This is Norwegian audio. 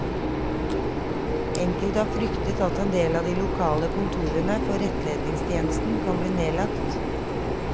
Enkelte har fryktet at en del av de lokale kontorene for rettledningstjenesten kan bli nedlagt.